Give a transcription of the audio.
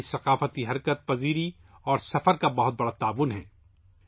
ہماری ثقافتی حرکیات اور سفر نے اس میں بہت تعاون کیا ہے